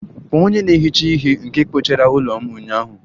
Kpọọ onye na-ehicha ihe nke kpochara ụlọ m ụnyaahụ!